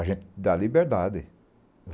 A gente dá liberdade.